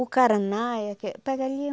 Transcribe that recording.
O caraná é aque pega ali.